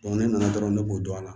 ne nana dɔrɔn ne b'o dɔn a la